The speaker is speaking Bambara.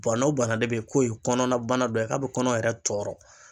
Bana o bana de bɛ yen k'o ye kɔnɔna bana dɔ ye k'a bɛ kɔnɔ yɛrɛ tɔɔrɔ.